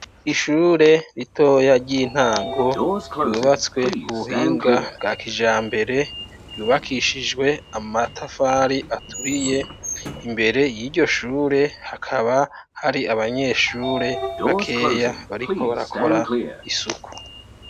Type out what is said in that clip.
Ishure ritoya ry'intango ryubatswe k'ubuhinga bwa kijambere ryubakishijwe amatafari aturiye imbere yiryo Shure hakaba hari abanyeshure bakeya bariko barakina isuku.